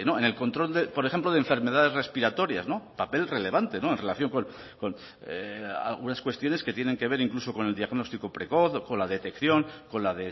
en el control por ejemplo de enfermedades respiratorias papel relevante en relación con algunas cuestiones que tienen que ver incluso con el diagnóstico precoz con la detección con la